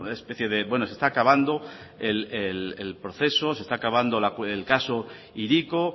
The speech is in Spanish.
especie de bueno se está acabando el proceso se está acabando el caso hiriko